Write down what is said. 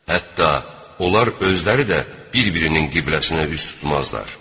Hətta onlar özləri də bir-birinin qibləsinə üz tutmazlar.